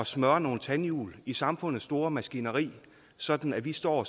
smøre nogle tandhjul i samfundets store maskineri sådan at vi står